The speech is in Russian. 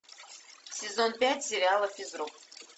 сезон пять сериала физрук